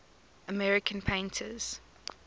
american painters